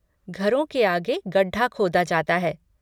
घरों के आगे गड्ढा खोदा जाता है।